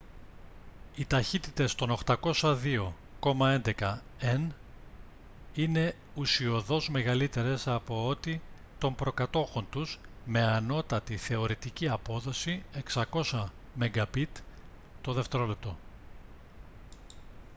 οι ταχύτητες των 802,11 n είναι ουσιωδώς μεγαλύτερες από ό,τι των προκατόχων τους με ανώτατη θεωρητική απόδοση 600 mbit/δευτερόλεπτο